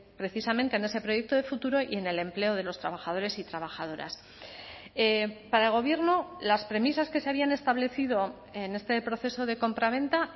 precisamente en ese proyecto de futuro y en el empleo de los trabajadores y trabajadoras para el gobierno las premisas que se habían establecido en este proceso de compraventa